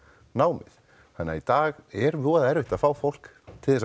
námið þannig að í dag er voða erfitt að fá fólk til